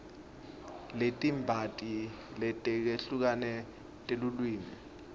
letibanti letehlukene telulwimi